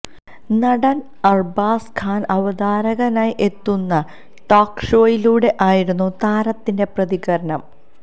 നടന് അര്ബാസ് ഖാന് അവതാരകനായി എത്തുന്ന ടോക് ഷോയിലൂടെ ആയിരുന്നു താരത്തിന്റെ പ്രതികരണം